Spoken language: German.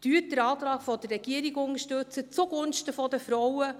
Unterstützen Sie den Antrag der Regierung zugunsten der Frauen.